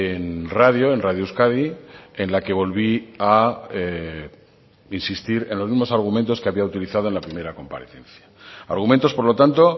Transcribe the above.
en radio en radio euskadi en la que volví a insistir en los mismos argumentos que había utilizado en la primera comparecencia argumentos por lo tanto